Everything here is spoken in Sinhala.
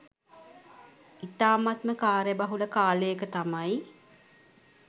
ඉතාමත්ම කාර්යබහුල කාලයක තමයි